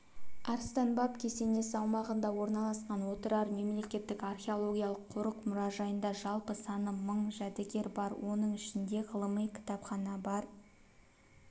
арыстан баб кесенесі аумағында орналасқан отырар мемлекеттік археологиялық қорық-мұражайында жалпы саны мың жәдігер бар оның ішінде ғылыми кітапхана бар